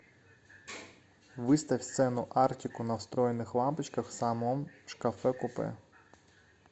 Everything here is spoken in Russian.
выставь сцену арктику на встроенных лампочках в самом шкафе купе